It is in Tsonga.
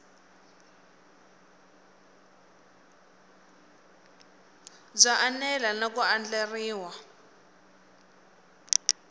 byo enela na ku andlariwa